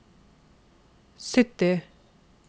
sytti